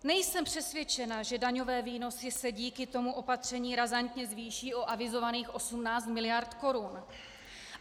Nejsem přesvědčena, že daňové výnosy se díky tomu opatření razantně zvýší o avizovaných 18 miliard korun.